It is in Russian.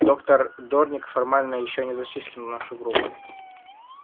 доктор дорник формально ещё не зачислен в нашу группу